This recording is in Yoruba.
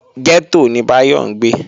Gẹ́tò ni Báyọ̀ ń gbé